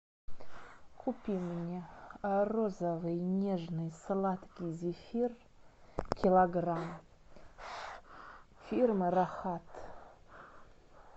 купи мне розовый нежный сладкий зефир килограмм фирмы рахат